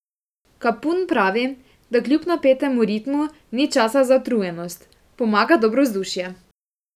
Kapun pravi, da kljub napetemu ritmu ni časa za utrujenost: "Pomaga dobro vzdušje.